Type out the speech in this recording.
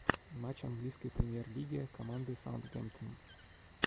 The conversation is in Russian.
матч английской премьер лиги команды саунд гемп тон